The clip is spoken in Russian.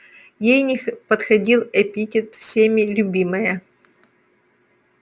ей не подходил эпитет всеми любимая